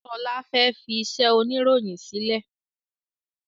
Sọlá fẹ́ fi iṣẹ́ oniroyin sílẹ̀